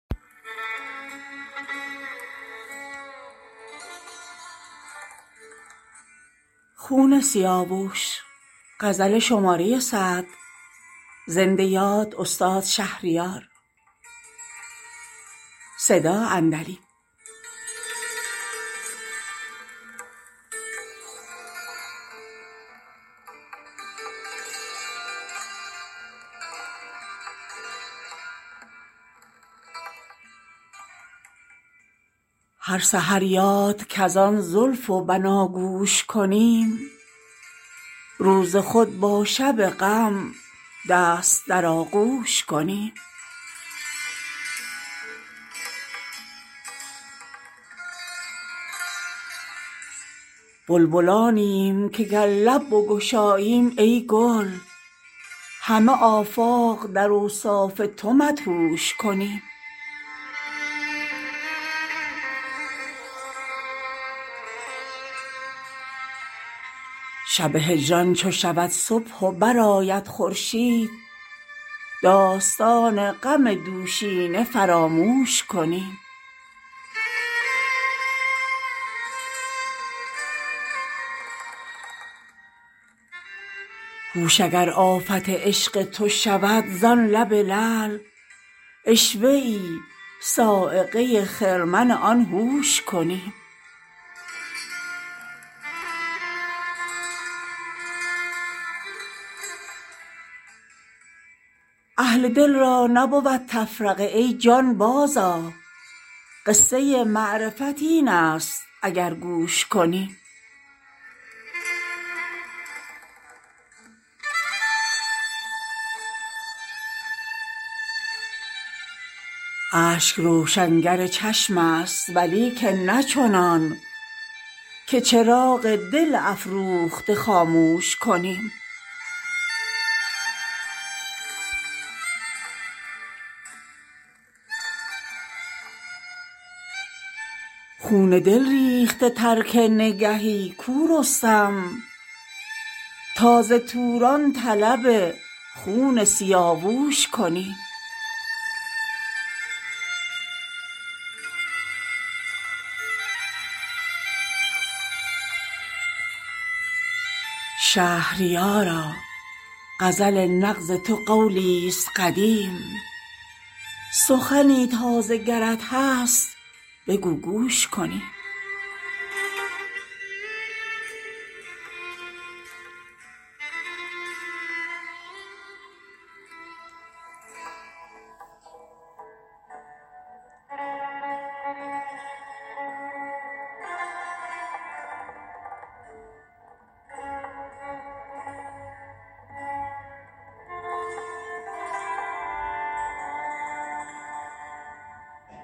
هر سحر یاد کز آن زلف و بناگوش کنیم روز خود با شب غم دست در آغوش کنیم دوش شب در خم گیسوش به پایان آمد امشب از زلف سخن تا به سر دوش کنیم دل بیمار نتابد تب آن نرگس مست مگر از شربت لعلش شکری نوش کنیم بلبلانیم که گر لب بگشاییم ای گل همه آفاق در اوصاف تو مدهوش کنیم شب هجران چو شود صبح و برآید خورشید داستان غم دوشینه فراموش کنیم هوش اگر آفت عشق تو شود زان لب لعل عشوه ای صاعقه خرمن آن هوش کنیم اهل دل را نبود تفرقه ای جان بازآ قصه معرفت این است اگر گوش کنیم اشک روشنگر چشم است ولیکن نه چنان که چراغ دل افروخته خاموش کنیم خون دل ریخته ترک نگهی کو رستم تا ز توران طلب خون سیاووش کنیم از در توبه خطاپیشه دلا عذر گناه عرضه با شاه گنه بخش خطاپوش کنیم شهریارا غزل نغز تو قولیست قدیم سخنی تازه گرت هست بگو گوش کنیم